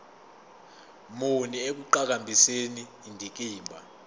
muni ekuqhakambiseni indikimba